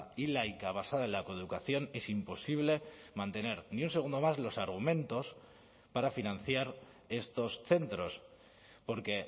y laica basada en la coeducación es imposible mantener ni un segundo más los argumentos para financiar estos centros porque